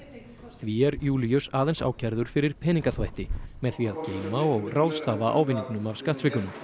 því er Júlíus aðeins ákærður fyrir peningaþvætti með því að geyma og ráðstafa ávinningnum af skattsvikunum